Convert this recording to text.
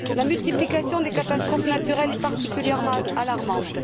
La multiplication des catastrophes naturelles est particulièrement alarmante.